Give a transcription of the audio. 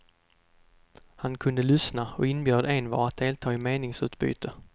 Han kunde lyssna och inbjöd envar att delta i ett meningsutbyte.